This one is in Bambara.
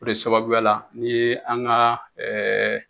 De sababuya la ni an ga ɛɛ